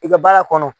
I ka baara kɔnɔ